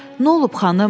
Nə olub, xanım?